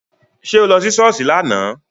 Ṣé o lọ sí Sọ́ọ́sì láánaà?